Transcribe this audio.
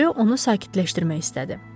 Ryo onu sakitləşdirmək istədi.